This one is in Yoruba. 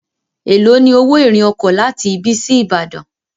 èló ní owo irin oko láti ibí sí ibadan.